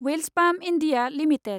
Welspun India limited